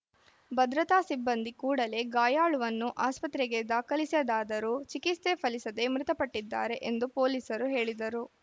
ಭದ್ರತಾ ಸಿಬ್ಬಂದಿ ಕೂಡಲೇ ಗಾಯಾಳುವನ್ನು ಆಸ್ಪತ್ರೆಗೆ ದಾಖಲಿಸಿದಾದರೂ ಚಿಕಿತ್ಸೆ ಫಲಿಸದೆ ಮೃತಪಟ್ಟಿದ್ದಾರೆ ಎಂದು ಪೊಲೀಸರು ಹೇಳಿದರು